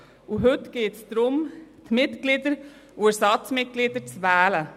Heute geht es darum, die Mitglieder und Ersatzmitglieder zu wählen.